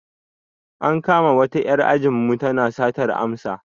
An kama wata 'yar anjinmu tana satar amsa.